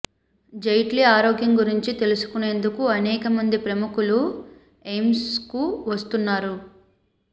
జైట్లీ ఆరోగ్యం గురించి తెలుసుకునేందుకు అనేక మంది ప్రముఖులు ఎయిమ్స్కు వస్తున్నారు